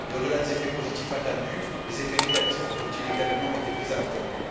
Mais, au delà des effets positifs attendus, les effets négatifs ont ils également été pris en compte?